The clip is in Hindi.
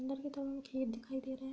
अन्दर की तरफ हमें खेत दिखाई दे रहे हैं।